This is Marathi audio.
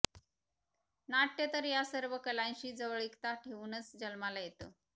नाट्य तर या सर्व कलांशी जवळीकता ठेवूनच जन्माला येतं